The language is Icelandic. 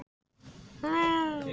Hann sé því mjög glaður.